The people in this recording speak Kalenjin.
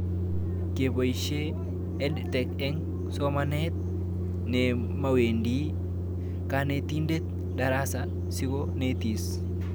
Kepoishe EdTech eng' somanet nemawendi kanetindet darasa siko netis